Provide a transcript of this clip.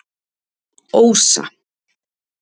Ósa